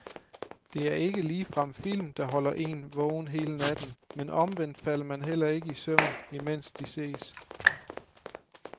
Det er ikke ligefrem film, der holder én vågen hele natten, men omvendt falder man heller ikke i søvn, imens de ses.